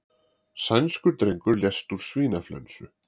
Sænskur drengur lést úr svínaflensu